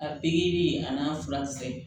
A pikiri a n'a fula